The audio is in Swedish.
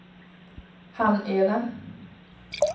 Hamneda